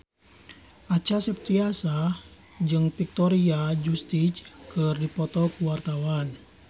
Acha Septriasa jeung Victoria Justice keur dipoto ku wartawan